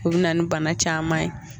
U bi na nin bana caman ye